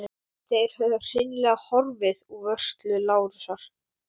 Þær höfðu hreinlega horfið úr vörslu Lárusar.